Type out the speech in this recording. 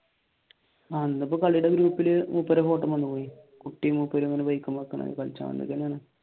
ഇന്നിപ്പോ കളിയുടെ ഗ്രൂപ്പിൽ മൂപ്പരുടെ